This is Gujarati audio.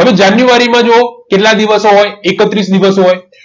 હવે જાન્યુઆરીમાં જુઓ કેટલા દિવસ હોય એકત્રીસ દિવસ હોય